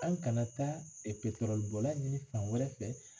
An kana taa bɔla ɲini fan wɛrɛ fɛ